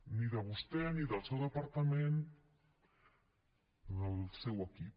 ni de vostè ni del seu departament ni del seu equip